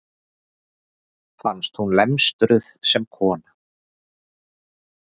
Fannst hún lemstruð sem kona.